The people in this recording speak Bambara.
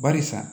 Barisa